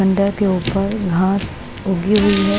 बंडर के ऊपर घास उगी हुई है।